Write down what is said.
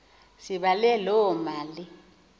sibale loo mali